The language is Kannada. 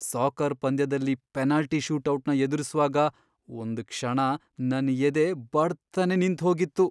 ಸಾಕರ್ ಪಂದ್ಯದಲ್ಲಿ ಪೆನಾಲ್ಟಿ ಶೂಟೌಟ್ನ ಎದುರಿಸ್ವಾಗ ಒಂದ್ ಕ್ಷಣ ನನ್ ಎದೆ ಬಡ್ತನೇ ನಿಂತ್ಹೋಗಿತ್ತು.